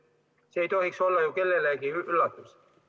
See ei tohiks olla kellelegi üllatus.